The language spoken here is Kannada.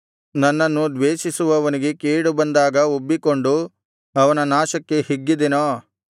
ನನ್ನನ್ನು ದ್ವೇಷಿಸುವವನಿಗೆ ಕೇಡು ಬಂದಾಗ ಉಬ್ಬಿಕೊಂಡು ಅವನ ನಾಶನಕ್ಕೆ ಹಿಗ್ಗಿದೆನೋ